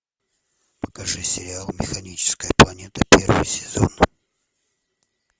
покажи сериал механическая планета первый сезон